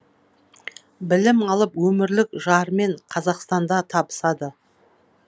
білім алып өмірілік жарымен қазақстанда табысады